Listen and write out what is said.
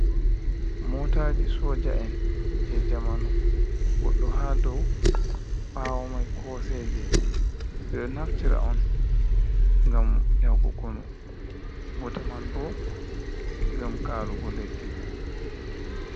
Mootaaji soja'en jey zamanu, goɗɗo haa dow, ɓaawo may kooseeje, ɓe ɗo naftira on, ngam yahugo konu, bote man bo, ngam kaarugo leddi.